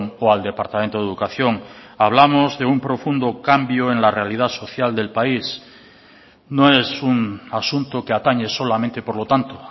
o al departamento de educación hablamos de un profundo cambio en la realidad social del país no es un asunto que atañe solamente por lo tanto